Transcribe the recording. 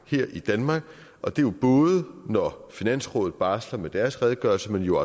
her i danmark og det er jo både når finansrådet barsler med deres redegørelse men jo